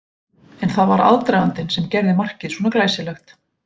En það var aðdragandinn sem gerði markið svona glæsilegt.